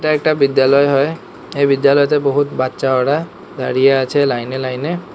একটা বিদ্যালয়ে হয় এই বিদ্যালয়তে বহুত বাচ্চা ওরা দাঁড়িয়ে আছে লাইন এ লাইন এ।